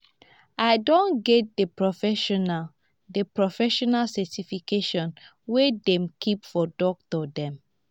i don get di professional di professional certification wey dem keep for doctor dem.